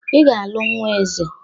"Ị ga-alụ Nnwa Eze"